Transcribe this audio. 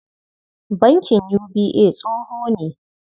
Bankin UBA tsoho ne.